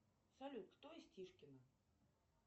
салют кто из тишкино